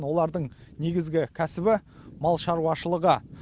олардың негізгі кәсібі мал шаруашылығы